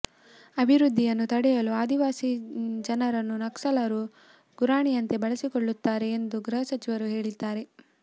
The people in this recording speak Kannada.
ಅಭಿವೃದ್ಧಿಯನ್ನು ತಡೆಯಲು ಆದಿವಾಸಿ ಜನರನ್ನು ನಕ್ಸಲರು ಗುರಾಣಿಯಂತೆ ಬಳಸಿಕೊಳ್ಳುತ್ತಾರೆ ಎಂದು ಗೃಸಚಿವರು ಹೇಳಿದ್ದಾರೆ